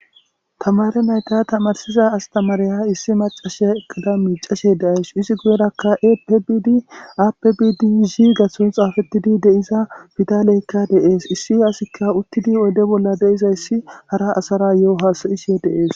Tamare nayta tamarsiza astamareya issi macashe ekada miicashe deays izi guyerakka apbid aapbidi zi gatho xaafettidi deiza bidaleykka deees issi asikka uttidi oyde bolla deizayssi hara asara yo'o hasayishye deees.